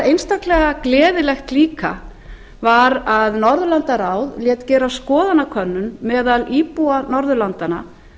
einstaklega gleðilegt líka var að norðurlandaráð lét gera skoðanakönnun meðal íbúa norðurlandanna